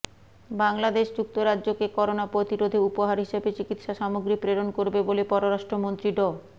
বাংলাদেশ যুক্তরাজ্যকে করোনা প্রতিরোধে উপহার হিসেবে চিকিৎসা সামগ্রী প্রেরণ করবে বলে পররাষ্ট্রমন্ত্রী ড